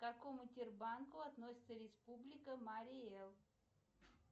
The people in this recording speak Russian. к какому тер банку относится республика марий эл